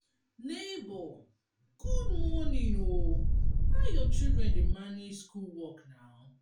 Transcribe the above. nebor good morning o how your children dey manage school work na?